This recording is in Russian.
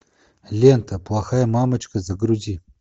лента плохая мамочка загрузи